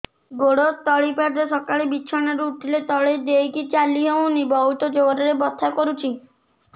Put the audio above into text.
ଗୋଡ ତଳି ପାଦ ସକାଳେ ବିଛଣା ରୁ ଉଠିଲେ ତଳେ ଦେଇକି ଚାଲିହଉନି ବହୁତ ଜୋର ରେ ବଥା କରୁଛି